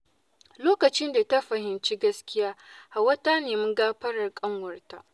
Lokacin da ta fahimci gaskiya, Hauwa ta nemi gafarar ƙanwarta.